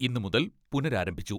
ഇന്ന് മുതൽ പുനരാരംഭിച്ചു.